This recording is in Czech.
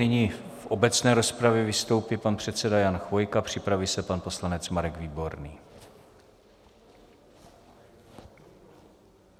Nyní v obecné rozpravě vystoupí pan předseda Jan Chvojka, připraví se pan poslanec Marek Výborný.